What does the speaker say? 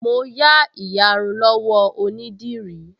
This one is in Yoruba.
Mo yá ìyarun lọ́wọ́ onídìrí